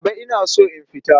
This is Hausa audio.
Baba ina so in fita.